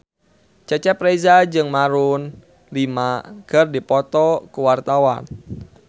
Cecep Reza jeung Maroon 5 keur dipoto ku wartawan